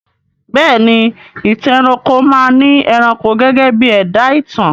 Bẹ́ẹ̀ ni, Ìtàn ẹranko máa ni ẹranko gẹ́gẹ́ bí ẹ̀dá ìtàn